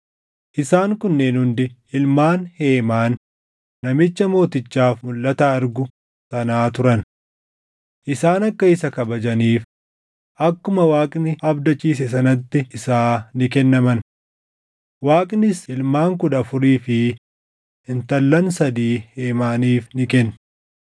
Isaan kunneen hundi ilmaan Heemaan namicha mootichaaf mulʼata argu sanaa turan. Isaan akka isa kabajaniif akkuma Waaqni abdachiise sanatti isaa ni kennaman. Waaqnis ilmaan kudha afurii fi intallan sadii Heemaaniif ni kenne.